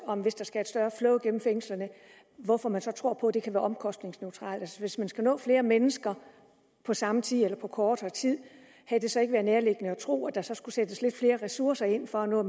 om hvis der skal et større flow igennem fængslerne hvorfor man så tror på at det kan være omkostningsneutralt hvis man skal nå flere mennesker på samme tid eller på kortere tid havde det så ikke været nærliggende at tro at der så skulle sættes lidt flere ressourcer ind for at nå